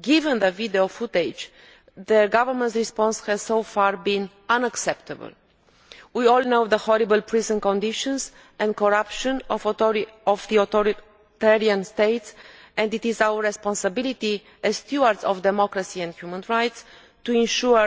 Given the video footage, the government response has so far been unacceptable. We all know the horrible prison conditions and corruption of the authoritarian states, and it is our responsibility as stewards of democracy and human rights to ensure